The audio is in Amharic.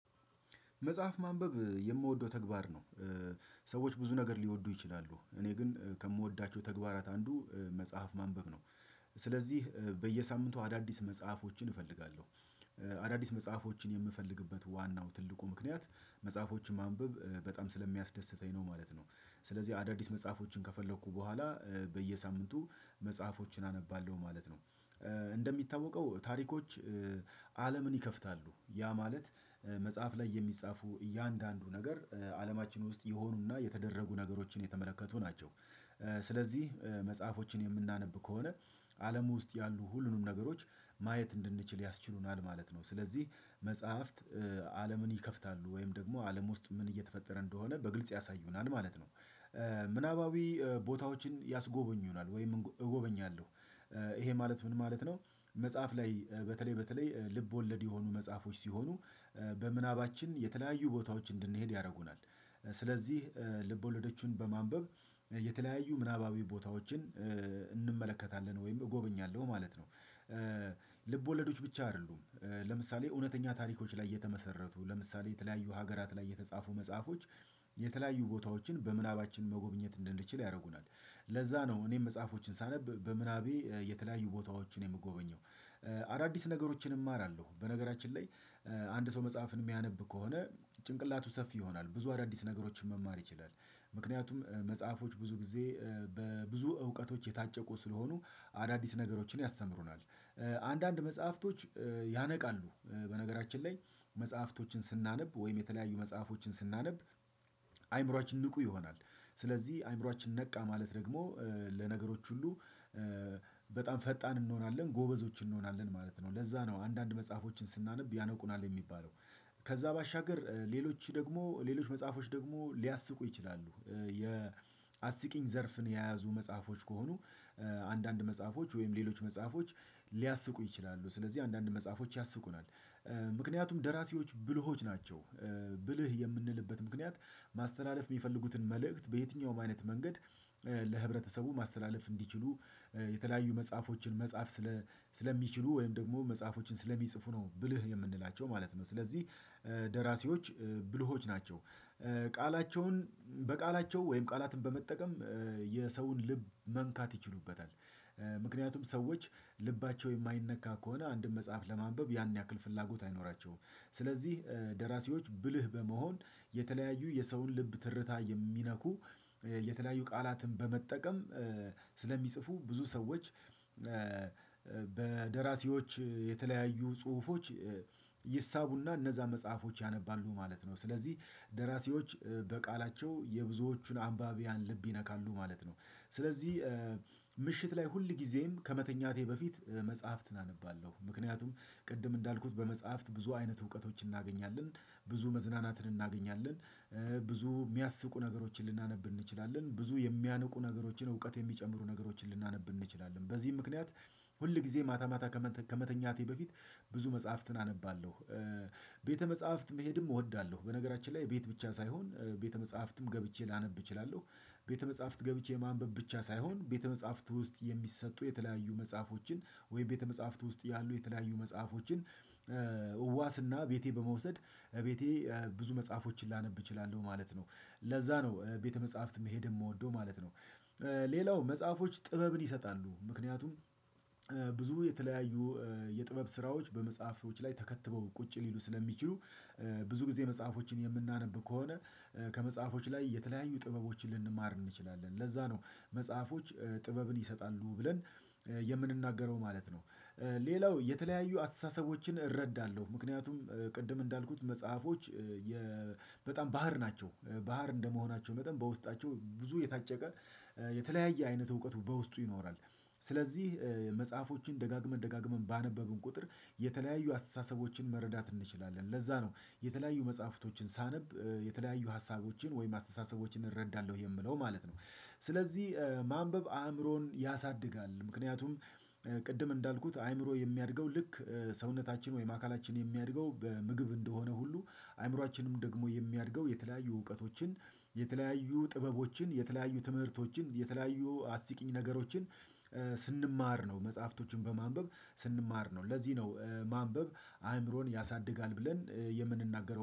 መጽሐፍ ማንበብ የምወደው ተግባር ነው። ሰዎች ብዙ ነገር ሊወዱ ይችላሉ እኔ ግን ከምወዳቸው ተግባራት አንዱ መጽሐፍ ማንበብ ነው። ስለዚህ በየሳምንቱ አዳዲስ መጽሐፎችን እፈልጋለው አዳዲስ መጽሐፎችን የምፈልግበት ዋናው ትልቁ ምክንያት መጽሐፎችን ማንበብ በጣም ስለሚያስደስተኝ ነው ማለት ነው። ስለዚህ አዳዲስ መጽሐፎችን ከፈለኩ በኋላ በየሳምንቱ መጽሐፎችን አነባለሁ ማለት ነው። እንደሚታወቀው ታሪኮች አለምን ይከፍታሉ ያ ማለት መጽሐፍ ላይ የሚጻፉ እያንዳንዱ ነገር አለማችን ውስጥ የሆኑና የተደረጉ ነገሮችን የተመለከቱ ናቸው። ስለዚህ መጽሐፎችን የምናነብ ከሆነ አለም ውስጥ ያሉ ሁሉንም ነገሮች ማየት እንድንችል ያስችሉናል ማለት ነው። ስለዚህ መጽሐፍት አለምን ይከፍታሉ ወይም ደግሞ አለም ውስጥ ምን እየተፈጠረ እንደሆነ በግልጽ ያሳዩናል ማለት ነው። ምናባዊ ቦታዎችን ያስጎበኙናል ወይም እጎበኛለሁ። ይሄ ማለት ምን ማለት ነው መጽሐፍ ላይ በተለይ በተለይ ልብ ወለድ የሆኑ መጽሐፎች ሲሆኑ በምናባችን የተለያዩ ቦታዎች እንድንሄድ ያደርጉናል። ስለዚህ ልብ ወለደችውን በማንበብ የተለያዩ ምናባዊ ቦታዎችን እንመለከታለን ወይም እጎብኛለሁ ማለት ነው። ልብ ወለዶች ብቻ አይደሉም ለምሳሌ እውነተኛ ታሪኮች ላይ የተመሰረቱ ለምሳሌ የተለያዩ ሀገራት ላይ የተጻፉ መጽሐፎች የተለያዩ ቦታዎችን በምናባችን መጎብኘት እንድንችል ያደርጉናል ለዛ ነው እኔም መጽሐፎችን ሳነብ በምናቤ የተለያዩ ቦታዎችን የምጎበኘው አዳዲስ ነገሮችን እማራለው በነገራችን ላይ አንድ ሰው መጽሐፍን የሚያነብ ከሆነ ጭንቅላቱ ሰፊ ይሆናል ብዙ አዳዲስ ነገሮችን መማር ይችላል ምክንያቱም መጽሐፎች ብዙ ጊዜ በብዙ እውቀቶች የታጨቁ ስለሆኑ አዳዲስ ነገሮችን ያስተምሩናል። አንዳንድ መጽሐፍቶች ያነቃሉ በነገራችን ላይ መጽሐፍቶችን ስናነብ ወይም የተለያዩ መጽሐፎችን ስናነብ አይምሮአችን ንቁ ይሆናል። ስለዚህ አእምሮአችን ነቃ ማለት ደግሞ ለነገሮች ሁሉ በጣም ፈጣን እንሆናለን ጎበዞች እንሆናለን ማለት ነው ለዛ ነው አንዳንድ መጽሐፎችን ስናነብ ያነቁናል የሚባለው። ከዛ ባሻገር ሌሎች ደግሞ ሌሎች መጽሐፎች ደግሞ ሊያስቁ ይችላሉ የአስቂኝ ዘርፍን የያዙ መጽሐፎች ከሆኑ አንዳንድ መጽሐፎች ወይም ሌሎች መጽሐፎች ሊያስቁ ይችላሉ ስለዚህ አንዳንድ መጽሐፎች ያስቁናል። ምክንያቱም ደራሲዎች ብልሆች ናቸው ብልህ የምንልበት ምክንያት ማስተላለፍ የሚፈልጉትን መልእክት በየትኛውም አይነት መንገድ ለህብረተሰቡ ማስተላለፍ እንዲችሉ የተለያዩ መጽሐፎችን መጻፍ ስለሚችሉ ወይም ደግሞ መጽሐፎችን ስለሚጽፉ ነው ብልህ የምንላቸው ማለት ነው ስለዚህ ደራሲዎች ብልሆች ናቸው። ቃላቸውን በቃላቸው ወይም ቃላትን በመጠቀም የሰውን ልብ መንካት ይችሉበታል። ምክንያቱም ሰዎች ልባቸው የማይነካ ከሆነ አንድን መጽሐፍ ለማንበብ ያን ያክል ፍላጎት አይኖራቸውም ስለዚህ ደራሲዎች ብልህ በመሆን የተለያዩ የሰውን ልብ ትርታ የሚነኩ የተለያዩ ቃላትን በመጠቀም ስለሚጽፉ ብዙ ሰዎች በደራሲዎች የተለያዩ ጽሁፎች ይሳቡና እነዛ መጽሐፎች ያነባሉ ማለት ነው። ስለዚህ ደራሲዎች በቃላቸው የብዙዎቹን አንባቢያን ልብ ይነካሉ ማለት ነው። ስለዚህ ምሽት ላይ ሁል ጊዜም ከመተኛቴ በፊት መጽሐፍትን አነባለሁ ምክንያቱም ቅድም እንዳልኩት በመጽሐፍት ብዙ አይነት እውቀቶችን እናገኛለን ብዙ መዝናናትን እናገኛለን ብዙ የሚያስቁ ነገሮችን ልናነብ እንችላለን ብዙ የሚያንቁ ነገሮችን እውቀት የሚጨምሩ ነገሮችን ልናነብ እንችላለን በዚህ ምክንያት ሁል ጊዜ ማታ ማታ ከመተኛቴ በፊት ብዙ መጽሐፍትን አነባለው። ቤተ መጽሐፍት መሄድም እወዳለሁ በነገራችን ላይ ቤት ብቻ ሳይሆን ቤተ መጽሐፍትም ገብቼ ላነብ እችላለሁ ቤተ መጽሐፍት ገብቼ ማንበብ ብቻ ሳይሆን ቤተ መጽሐፍት ውስጥ የሚሰጡ የተለያዩ መጽሐፎችን ወይም ቤተ መጽሐፍት ውስጥ ያሉ የተለያዩ መጽሐፎችን እዋስና ቤቴ በመውሰድ ቤቴ ብዙ መጽሐፎችን ላነብ እችላለሁ ማለት ነው። ለዛ ነው ቤተ መጽሐፍት መሄድ የምወደው ማለት ነው። ሌላው መጽሐፎች ጥበብን ይሰጣሉ። ምክንያቱም ብዙ የተለያዩ የጥበብ ስራዎች በመጽሐፎች ላይ ተከትበው ቁጭ ሊሉ ስለሚችሉ ብዙ ጊዜ መጽሐፎችን የምናነብ ከሆነ ከመጽሐፎች ላይ የተለያዩ ጥበቦችን ልንማር እንችላለን። ለዛ ነው መጽሐፎች ጥበብን ይሰጣሉ ብለን የምንናገረው ማለት ነው። ሌላው የተለያዩ አስተሳሰቦችን እረዳለው ምክንያቱም ቅድም እንዳልኩት መጽሐፎች በጣም ባህር ናቸው ባህር እንደመሆናቸው መጠን በውስጣቸው ብዙ የታጨቀ የተለያየ አይነት እውቀት በውስጡ ይኖራል። ስለዚህ መጽሐፎችን ደጋግመን ደጋግመን ባነበብን ቁጥር የተለያዩ አስተሳሰቦችን መረዳት እንችላለን ለዛ ነው የተለያዩ መጽሐፍቶችን ሳነብ የተለያዩ ሀሳቦችን ወይም አስተሳሰቦችን እረዳለው የምለው ማለት ነው። ስለዚህ ማንበብ አእምሮን ያሳድጋል ምክንያቱም ቅድም እንዳልኩት አእምሮ የሚያድገው ልክ ሰውነታችን ወይም አካላችን የሚያድገው በምግብ እንደሆነ ሁሉ አእምሮአችንም ደግሞ የሚያድገው የተለያዩ እውቀቶችን የተለያዩ ጥበቦችን የተለያዩ ትምህርቶችን የተለያዩ አስቂኝ ነገሮችን ስንማር ነው መጽሐፍቶችን በማንበብ ስንማር ነው። ለዚህ ነው ማንበብ አእምሮን ያሳድጋል ብለን የምንናገረው